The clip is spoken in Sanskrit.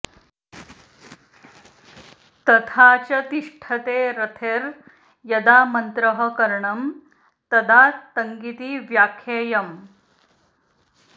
तथा च तिष्ठतेरर्थे यदा मन्त्रः करणं तदा तङिति व्याख्येयम्